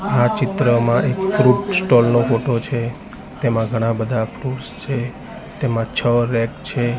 આ ચિત્રમાં એક ફ્રુટ સ્ટોલ નો ફોટો છે તેમાં ઘણા બધા ફ્રુટ્સ છે તેમાં છો રેક છે.